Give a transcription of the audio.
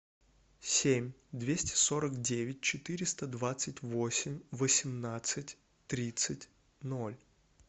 семь двести сорок девять четыреста двадцать восемь восемнадцать тридцать ноль